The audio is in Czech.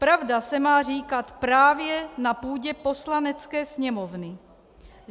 Pravda se má říkat právě na půdě Poslanecké sněmovny.